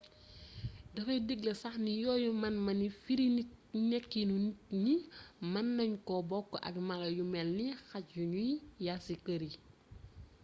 dafay digle sax ni yooyu man-mani firi nekkiinu nit ñi mën nañ ko book ak mala yu melni xaj yuñuy yàr ci kër yi